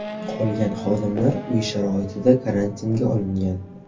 Qolgan xodimlar uy sharoitida karantinga olingan.